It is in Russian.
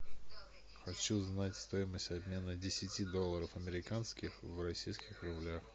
хочу знать стоимость обмена десяти долларов американских в российских рублях